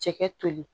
Cɛkɛ toli